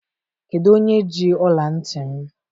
Kedu onye ji ọla ntị m?